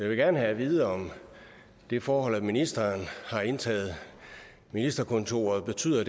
vil gerne have at vide om det forhold at ministeren har indtaget ministerkontoret betyder